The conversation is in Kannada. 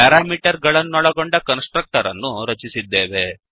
ಪ್ಯಾರಾಮೀಟರ್ ಗಳನ್ನೊಳಗೊಂಡ ಕನ್ಸ್ ಟ್ರಕ್ಟರ್ ಅನ್ನು ರಚಿಸಿದ್ದೇವೆ